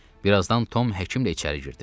Bir azdan Tom həkimlə içəri girdi.